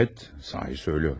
Bəli, doğru deyirəm.